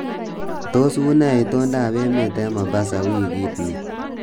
Tos unee itondoab emet eng Mombasa wikit ni